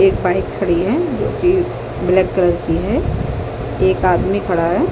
एक बाइक खड़ी है जीकि ब्लैक कलर की है एक आदमी खड़ा है |